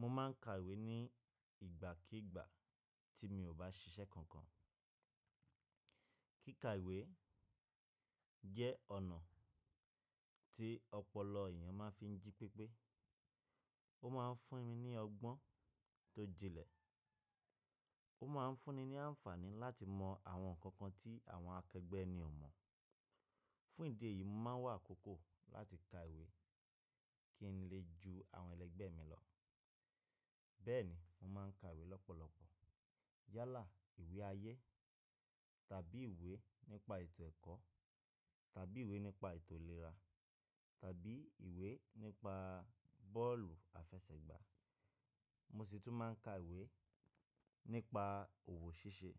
Mo ma n ka ìwé ní ìgbàkígbà tí mi ò bá ṣiṣẹ́ kankan. Kíka ìwé jẹ́ ọ̀nà tí ọ̀polo èèyàn ma n fi jí pépé. Ó ma n fún mi ní ọgbọ́n tó jinlẹ̀. Ó ma n fún ni ní àǹfààní láti mọ àwọn nǹkan kan tí àwọn akẹẹgbẹ́ eni ò mọ̀. Fún ìdí èyí, mo ma n wà akókó láti ka ìwé kí n lè ju àwọn ẹlẹgbẹ́ mi lọ. Bẹ́ẹ̀ni, mo ma n ka ìwé lọ́pọ̀lọpọ̀. Yálà ìwé ayé tàbí ìwé nípa ètò ẹ̀kọ́ tàbí ìwé nípa ètò ìlera tàbí ìwé nípa bọ́ọ̀lù àfẹsẹ̀gbá. Mo sì tún ma n ka ìwé nípa òwò ṣíṣe.